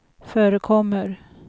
förekommer